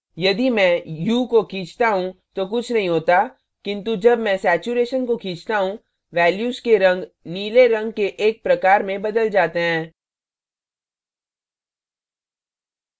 यदि मैं hue hue को खींचता hue तो कुछ नहीं होता किन्तु जब मैं saturation saturation को खींचता hue value के रंग नीले रंग के एक प्रकार में बदल जाते हैं